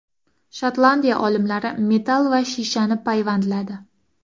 Shotlandiya olimlari metall va shishani payvandladi.